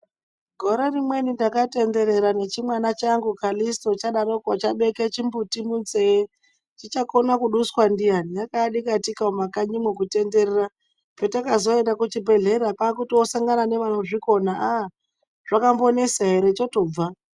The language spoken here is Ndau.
Gore rimweni takatenderera nechimwana changu Kalisito chadaroko chabeka chimbuti munzeye chichakona kuduswa ndiyani .Rakaadikatika mumakanyimo kutenderera patakazoenda kuchibhehlera kwaakusangana nevanozvikona aa zvakambonesa ere aa chotobva.